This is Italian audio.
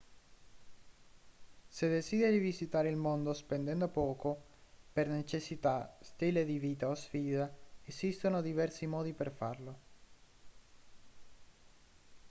se desideri visitare il mondo spendendo poco per necessità stile di vita o sfida esistono diversi modi per farlo